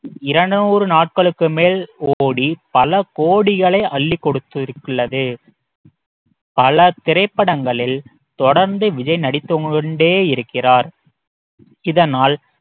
இருநூறு நாட்களுக்கு மேல் ஓடி பல கோடிகளை அள்ளிக் கொடுத்துள்ளது பல திரைப்படங்களில் தொடர்ந்து விஜய் நடித்துக் கொண்டே இருக்கிறார் இதனால்